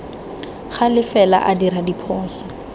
gale fela a dira diphoso